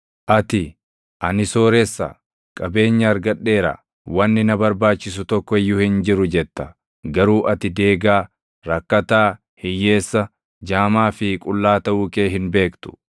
Ati, ‘Ani sooressa; qabeenya argadheera; wanni na barbaachisu tokko iyyuu hin jiru’ jetta. Garuu ati deegaa, rakkataa, hiyyeessa, jaamaa fi qullaa taʼuu kee hin beektu.